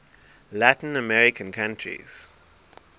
latin american countries